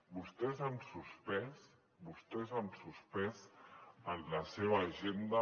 vostès han suspès vostès han suspès en la seva agenda